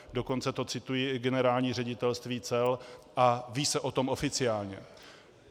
Dokonce to cituje i Generální ředitelství cel a ví se o tom oficiálně.